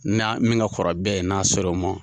Ni a min ka kɔrɔ bɛɛ ye n'a sero ma.